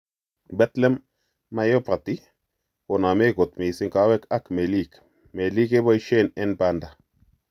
Bethlem myopathy koname kot mising kowek ak melik, melik kepoisien en panda.